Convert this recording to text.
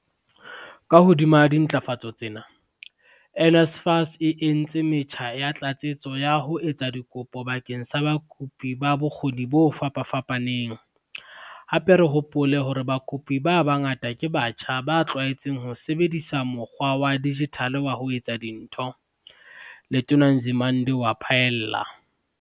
Ka hodima dintlafatso tsena, NSFAS e entse metjha ya tlatsetso ya ho etsa dikopo bakeng sa bakopi ba bokgo ni bo fapafapaneng, hape re hopole hore bakopi ba bangata ke batjha ba tlwaetseng ho sebedisa mokgwa wa dijithale wa ho etsa dintho," Letona Nzimande o a phaella.